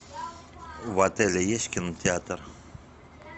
в отеле есть кинотеатр